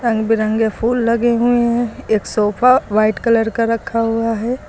रंग बिरंगे फूल लगे हुए हैं एक सोफा व्हाइट कलर का रखा हुआ है।